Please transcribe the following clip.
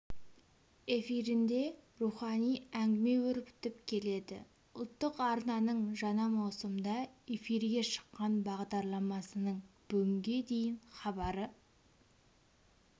эфирінде рухани әңгіме өрбітіп келеді ұлттық арнаның жаңа маусымда эфирге шыққан бағдарламасының бүгінге дейін хабары